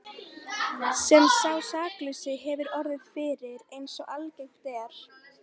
sem sá saklausi hefur orðið fyrir, eins og algengt er.